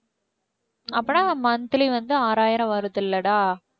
அப்பன்னா monthly வந்து ஆறாயிரம் வருதுல்லடா